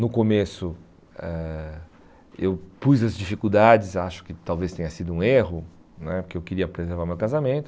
No começo ãh eu pus as dificuldades, acho que talvez tenha sido um erro né, porque eu queria preservar meu casamento.